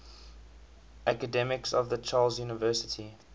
academics of the charles university